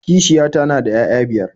Kishiyata na da 'ya'ya biyar